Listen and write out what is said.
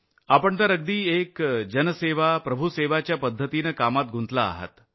नमस्ते । आपण तर अगदी एक जनसेवा प्रभुसेवा च्या पद्धतीनं कामात गुंतला आहात